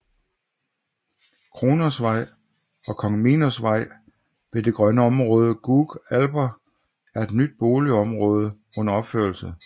Kronosvej og Kong Minos Vej ved det grønne område Gug Alper er et nyt boligområde under opførelse